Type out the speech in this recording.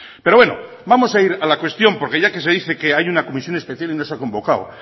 pero bueno vamos a ir a la cuestión porque ya que se dice que hay una comisión especial y no se ha convocado